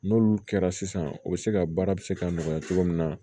N'olu kɛra sisan o be se ka baara bi se ka nɔgɔya cogo min na